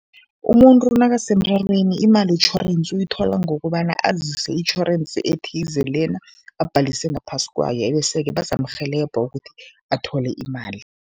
Umuntu nakasemrarweni, imali yetjhorensi uyithola ngokobana azise itjhorensi ethize lena abhalise ngaphasi kwayo ebeseke bazamrhelebha ukuthi athole imali.